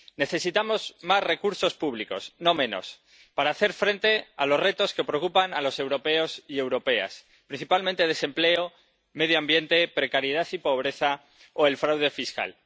Necesitamos más recursos públicos, no menos, para hacer frente a los retos que preocupan a los europeos y europeas, principalmente desempleo, medio ambiente, precariedad y pobreza o fraude fiscal